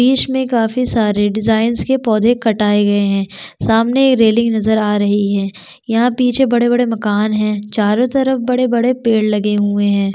बीच में काफी सारे डिज़ाइन के पौधे कटाए गए है सामने रेलिंग नज़र आ रही है यहाँ पीछे बड़े- बड़े माकन है चारों तरफ बड़े- बड़े पेड़ लगे हुए हैं।